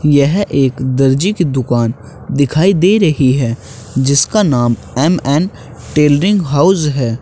यह एक दर्जी की दुकान दिखाई दे रही है जिसका नाम एम_एन टेलरिंग हाउस है।